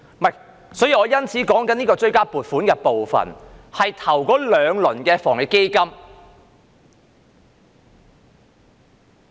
不是的，我說的追加撥款是關於首輪防疫抗疫基金。